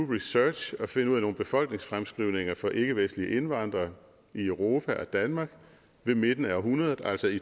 research og finde nogle befolkningsfremskrivninger for ikkevestlige indvandrere i europa og danmark ved midten af århundredet altså i